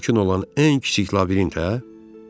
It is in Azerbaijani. Mümkün olan ən kiçik labirintə hə?